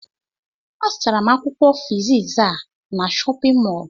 Azụtara m Akwụkwọ fiziks a n'shóppin mol